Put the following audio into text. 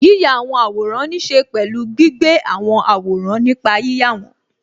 Yíya àwòrán ní ṣe pẹ̀lú gbígbé àwọn àwòrán nípa yíyà wọn